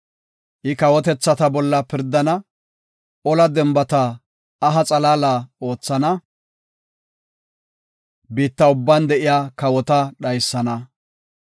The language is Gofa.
I kawotethata bolla pirdana; ola denbata aha xalaala oothana; biitta ubban de7iya kawota dhaysana.